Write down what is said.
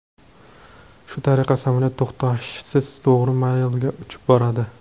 Shu tariqa, samolyot to‘xtashsiz to‘g‘ri Malega uchib boradi.